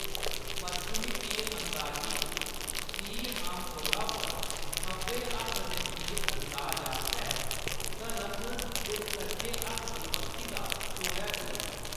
पश्चिमी तीर-अंदाजी च, तीर आमतौरा पर खब्भे हत्थ दे तीर-अंदाज आस्तै धनख दे सज्जे हत्थ दी बक्खी दा छोड़ेआ जंदा ऐ।